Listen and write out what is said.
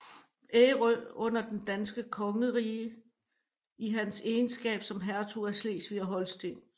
Ærø under det danske kongerige i hans egenskab som hertug af Slesvig og Holsten